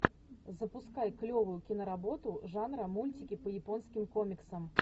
запускай клевую киноработу жанра мультики по японским комиксам